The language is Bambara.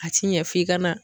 A ti ɲɛ f'i ka na.